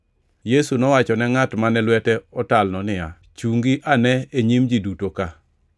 Yesu nowacho ne ngʼat mane lwete otalno niya, “Chungi ane e nyim ji duto ka.”